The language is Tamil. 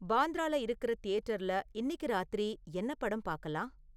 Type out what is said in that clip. பாந்த்ரால இருக்குற தியேட்டர்ல இன்னிக்கு ராத்திரி என்ன படம் பாக்கலாம்?